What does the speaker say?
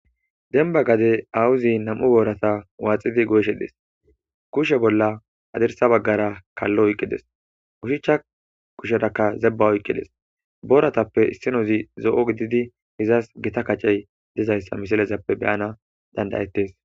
Dembba gade awuzi nam7u boorata waaxidi goyishe des. Kushe bolla adersa baggara kallo oyqqides. Ushichcha kusherakka zebba oyqqides. Booratappe issinozi zo7o gididi izas gita kacey dizayssa misilezappe be'ana danda;ettes.